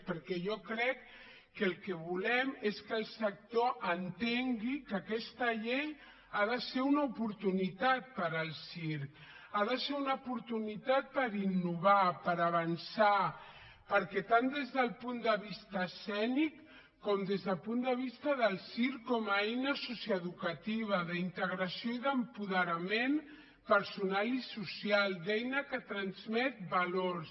perquè jo crec que el que volem és que el sector entengui que aquesta llei ha de ser una oportunitat per al circ ha de ser una oportunitat per innovar per avançar tant des del punt de vista escènic com des del punt de vista del circ com a eina socioeducativa d’integració i d’apoderament personal i social d’eina que transmet valors